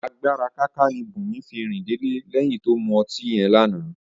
Agbára káká ni Bùnmi fi rìn délé lé̩yìn tó mu o̩tí yó lánàá